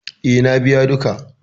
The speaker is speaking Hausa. E, na biya duka.